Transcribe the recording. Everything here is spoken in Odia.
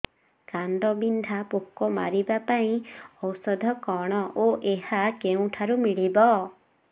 କାଣ୍ଡବିନ୍ଧା ପୋକ ମାରିବା ପାଇଁ ଔଷଧ କଣ ଓ ଏହା କେଉଁଠାରୁ ମିଳିବ